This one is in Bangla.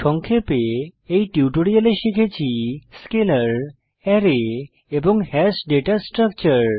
সংক্ষেপে এই টিউটোরিয়ালে শিখেছি স্কেলার অ্যারে এবং হ্যাশ ডেটা স্ট্রাকচার